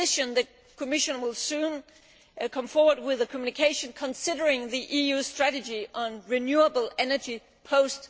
In addition, the Commission will soon come forward with a communication considering the EU's strategy on renewable energy post